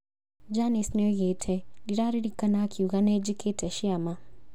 Janice nĩoigĩte "ndĩraririkana akiuga nĩnjĩkĩte ciama"